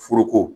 Foroko